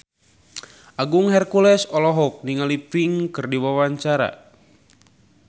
Agung Hercules olohok ningali Pink keur diwawancara